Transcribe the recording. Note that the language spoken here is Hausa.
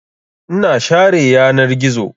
Ina share yanar gizo.